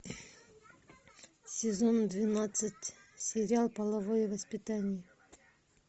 сезон двенадцать сериал половое воспитание